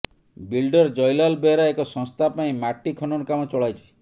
builder Jaylal Behera ଏକ ସଂସ୍ଥା ପାଇଁ ମାଟି ଖନନ କାମ ଚଳାଇଛି